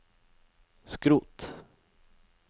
skrot